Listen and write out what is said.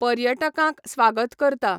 पर्यटकांक स्वागत करता